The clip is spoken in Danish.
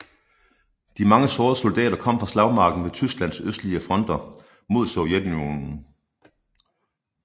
De mange sårede soldater kom fra slagmarken ved Tysklands østlige fronter mod Sovjetunionen